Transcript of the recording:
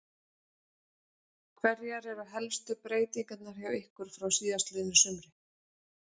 Hverjar eru helstu breytingarnar hjá ykkur frá síðastliðnu sumri?